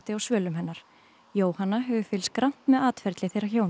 á svölum hennar Jóhanna hefur fylgst grannt með atferli þeirra hjóna